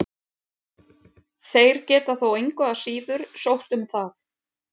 Þeir geta þó engu að síður sótt um það.